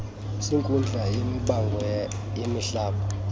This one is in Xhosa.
zenkundla yamabango emihlaba